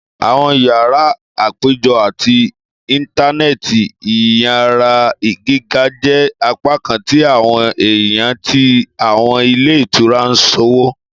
Àwọn yárà apejọ ati intanẹẹti iyara giga jẹ apakan ti awọn ẹya ti awọn ilé ìtura iṣowo